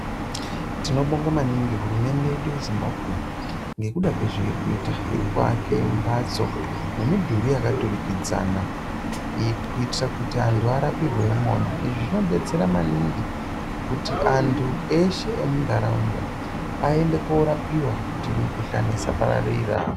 Tinobonga maningi hurumende yedu yeZimbabwe ngekuda kwezveiri kuita. Iri kuake mbatso nemidhuri yakaturikidzana kuitira kuti antu arapirwe imona. Izvi zvinodetsera maningi kuti antu eshe emuntaraunda aende korapiwa kuti mikuhlani isapararira.